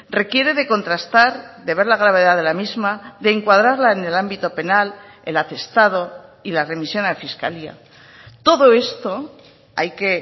requiere de contrastar de ver la gravedad de la misma de encuadrarla en el ámbito penal el atestado y la remisión a fiscalía todo esto hay que